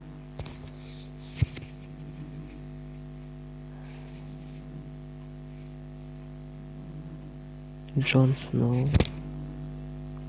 джон сноу